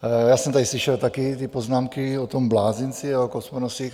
Já jsem tady slyšel taky ty poznámky o tom blázinci a o Kosmonosích.